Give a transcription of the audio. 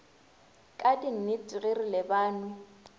ka dinnete ge re lebanwe